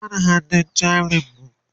duba mana hannun jarin mu!